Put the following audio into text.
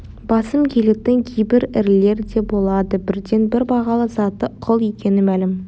басым келетін кейбір ірілері де болады бірден-бір бағалы заты құл екені мәлім